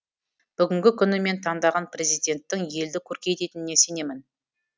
бүгінгі күні мен таңдаған президенттің елді көркейтініне сенемін